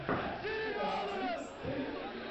хэлс типс фо ю